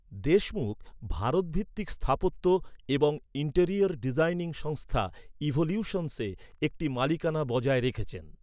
দেশমুখ ভারতভিত্তিক স্থাপত্য এবং ইন্টেরিয়র ডিজাইনিং সংস্থা ইভোলিউশনসে একটি মালিকানা বজায় রেখেছেন।